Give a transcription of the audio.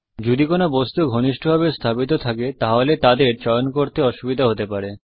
যদি কিছু বস্তু ঘনিষ্ঠভাবে স্থাপিত থাকে তাহলে তাদের চয়ন করতে অসুবিধা হতে পারে